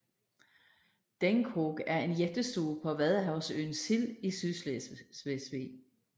Denghoog er en jættestue på vadehavsøen Sild i Sydslesvig